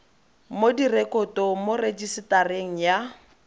mo direkotong mo rejisetareng ya